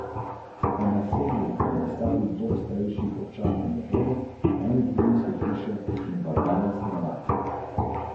Londončani so se v drugem delu drugega polčasa vrnili v igro.